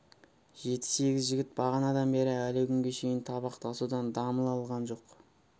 жеті-сегіз жігіт бағанадан бері әлі күнге шейін табақ тасудан дамыл алған жоқ